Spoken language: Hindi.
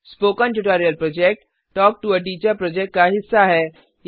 spoken tutorial project talk to a teacher project का हिस्सा है